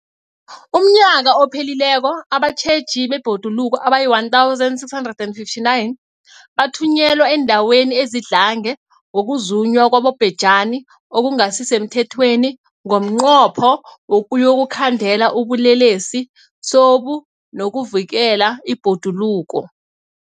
UmNnyaka ophelileko abatjheji bebhoduluko abayi-1 659 bathunyelwa eendaweni ezidlange ngokuzunywa kwabobhejani okungasi semthethweni ngomnqopho wokuyokukhandela ubulelesobu nokuvikela ibhoduluko.